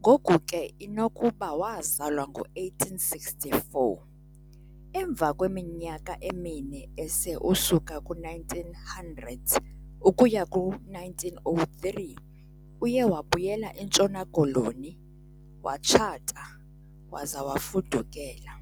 ngoku ke inokuba waazalwa ngo-1864. Emva kweminyaka emine ese usuka ku-1900 ukuya ku-1903 uye wabuyela entshona koloni, watshata, waze wafudukela.